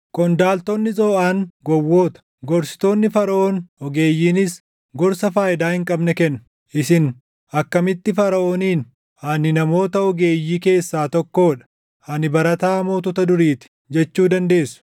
Qondaaltonni Zooʼaan gowwoota; gorsitoonni Faraʼoon ogeeyyiinis // gorsa faayidaa hin qabne kennu. Isin akkamitti Faraʼooniin, “Ani namoota ogeeyyii keessaa tokkoo dha; ani barataa mootota durii ti” jechuu dandeessu?